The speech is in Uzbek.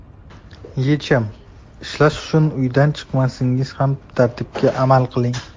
Yechim: Ishlash uchun uydan chiqmasangiz ham tartibga amal qiling.